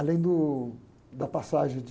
Além do, da passagem de...